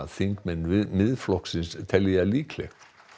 þingmenn Miðflokksins telji það líklegt